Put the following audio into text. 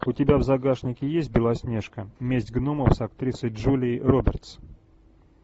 у тебя в загашнике есть белоснежка месть гномов с актрисой джулией робертс